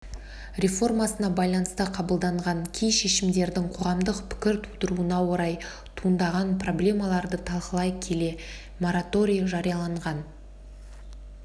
реформасына байланысты қабылданған кей шешімдердің қоғамдық пікір тудыруына орай туындаған проблемаларды талқылай келе мораторий жарияланған